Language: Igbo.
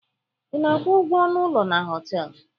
Ị na-akwụ ụgwọ ọnụ ụlọ na họtelụ?